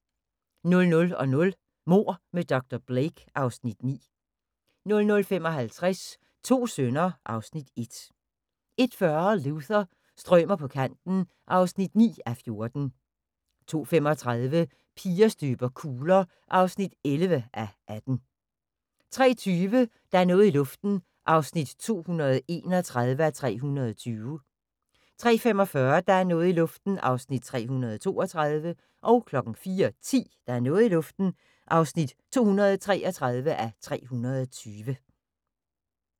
00:00: Mord med dr. Blake (Afs. 9) 00:55: To sønner (Afs. 1) 01:40: Luther – strømer på kanten (9:14) 02:35: Piger støber kugler (11:18) 03:20: Der er noget i luften (231:320) 03:45: Der er noget i luften (232:320) 04:10: Der er noget i luften (233:320)